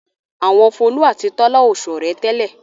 Àwọn Folú àti Tọ́lá ò ṣọ̀rẹ́ tẹ́lẹ̀.